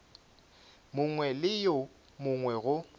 mongwe le yo mongwe go